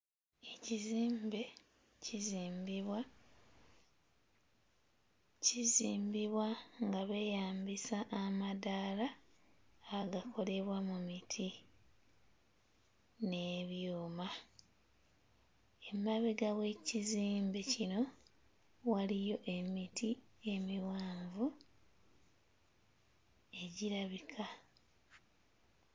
Ekizimbe kizimbibwa kizimbibwa nga beeyambisa amadaala agakolebwa mu miti n'ebyuma. Emabega w'ekizimbe kino waliyo emiti emiwanvu egirabika.